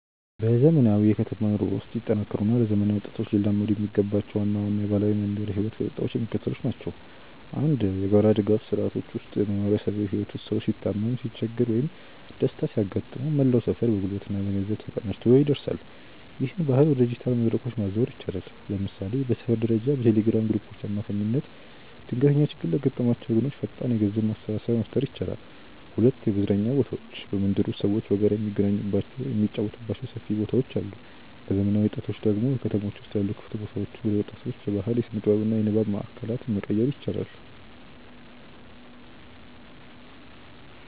በዘመናዊው የከተማ ኑሮ ውስጥ ሊጠናከሩ እና ለዘመናዊ ወጣቶች ሊላመዱ የሚገባቸው ዋና ዋና የባህላዊ የመንደር ህይወት ገጽታዎች የሚከተሉት ናቸው፦ 1. የጋራ ድጋፍ ስርዓቶች ውስጥ በማህበራዊ ህይወት ውስጥ ሰው ሲታመም፣ ሲቸገር ወይም ደስታ ሲያጋጥመው መላው ሰፈር በጉልበትና በገንዘብ ተቀናጅቶ ይደርሳል። ይህንን ባህል ወደ ዲጂታል መድረኮች ማዛወር ይቻላል። ለምሳሌ በሰፈር ደረጃ በቴሌግራም ግሩፖች አማካኝነት ድንገተኛ ችግር ለገጠማቸው ወገኖች ፈጣን የገንዘብ ማሰባሰቢያ መፍጠር ይቻላል። 2. የመዝናኛ ቦታዎች በመንደር ውስጥ ሰዎች በጋራ የሚገናኙባቸው፣ የሚጫወቱባቸው ሰፊ ቦታዎች አሉ። ለዘመናዊ ወጣቶች ደግሞ በከተሞች ውስጥ ያሉ ክፍት ቦታዎችን ወደ ወጣቶች የባህል፣ የስነ-ጥበብ እና የንባብ ማእከላት መቀየር ይቻላል።